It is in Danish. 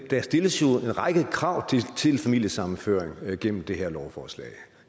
jo stilles en række krav til familiesammenføring gennem det her lovforslag